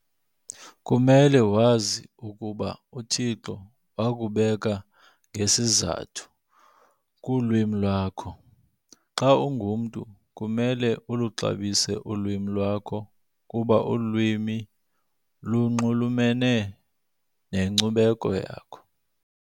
kumele wazi ukuba uThixo wakubeka ngesizathu kulwimi lwakho. Xa ungumntu kumele uluxabise ulwimi lwakho kuba ulwimi lunxulumele nenkcubeko yakho.